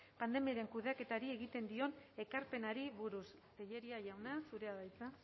pandemiaren kudeaketari egiten dion ekarpenari buruz tellería jauna zurea da hitza